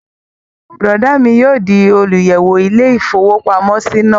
Bùrọ̀dá mi yóò di olùyẹ̀wò ilé-ìfowópamọ́sí náà